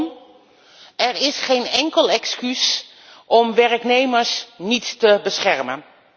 Kortom, er is geen enkel excuus om werknemers niet te beschermen.